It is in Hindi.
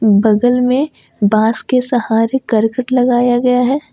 बगल में बांस के सहारे करकट लगाया गया है।